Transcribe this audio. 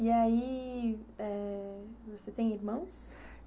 E aí eh, você tem irmãos?